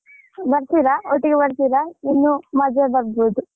ಬರ್ತೀರಾ ಒಟ್ಟಿಗೆ ಬರ್ತೀರಾ ಇನ್ನು ಮಜಾ ಬರ್ಬೋದು